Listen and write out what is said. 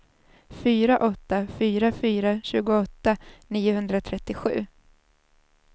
fyra åtta fyra fyra tjugoåtta niohundratrettiosju